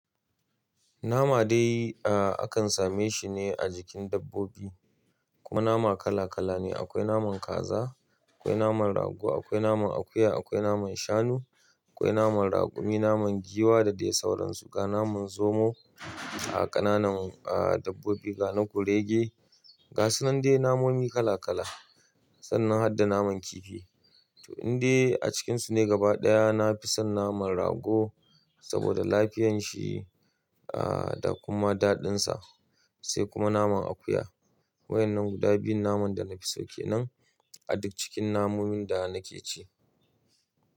Nama dai, a kan same shi ne a jikin dabbobi. Kuma nama kala kala ne. Akwai naman kaza, akwai naman rago, akwai naman akuya, akwai naman shanu, akwai naman raƙumi, naman giwa da dai sauransu. Ga naman zomo a ƙananan dabbobi, ga na kurege, ga sunan dai namomi kala kala. Sannan hadda naman kifi. To, indai a cikinsu ne gaba ɗaya na fi son naman rago saboda lafiyanshi, aa, da kuma daɗinsa, sai kuma naman akuya. Waɗannan guda biyun naman da na fi so kenan a duk cikin namomin da na ke ci.